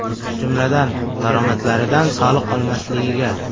Jumladan, daromadlaridan soliq olinmasligiga.